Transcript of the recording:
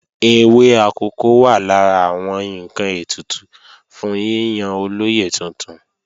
Ewé akòko wà lára àwọn ǹkan ètùtù fún yíyan olóyè tuntun